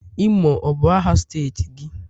imo ọ bu aha steeti gi?